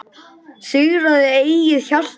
Sigraðu eigið hjarta